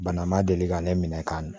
Bana ma deli ka ne minɛ ka na